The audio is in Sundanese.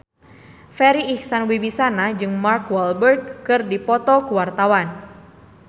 Farri Icksan Wibisana jeung Mark Walberg keur dipoto ku wartawan